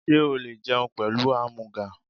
Sé o le jẹun pẹ̀lú ámúgà?